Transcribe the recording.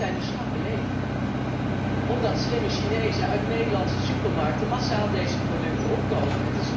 Alleen zijn de schappen leeg, omdat slimme Chinezen uit Nederlandse supermarkten massaal deze producten opkopen.